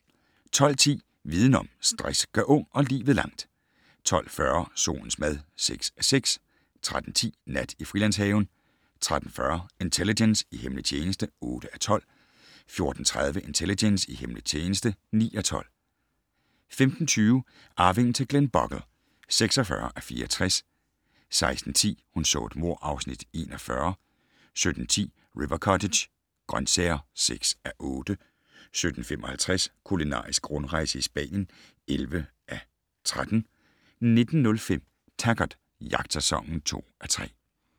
12:10: Viden om: Stress gør ung og livet langt 12:40: Solens mad (6:6) 13:10: Nat i Frilandshaven 13:40: Intelligence - i hemmelig tjeneste (8:12) 14:30: Intelligence - i hemmelig tjeneste (9:12) 15:20: Arvingen til Glenbogle (46:64) 16:10: Hun så et mord (Afs. 41) 17:10: River Cottage - grøntsager (6:8) 17:55: Kulinarisk rundrejse i Spanien (11:13) 19:05: Taggart: Jagtsæson (2:3)